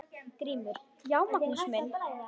GRÍMUR: Já, Magnús minn!